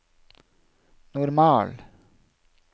normal